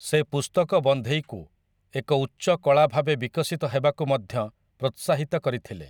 ସେ ପୁସ୍ତକ ବନ୍ଧେଇକୁ ଏକ ଉଚ୍ଚ କଳା ଭାବେ ବିକଶିତ ହେବାକୁ ମଧ୍ୟ ପ୍ରୋତ୍ସାହିତ କରିଥିଲେ ।